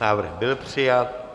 Návrh byl přijat.